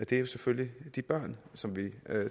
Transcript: det er selvfølgelig de børn som vi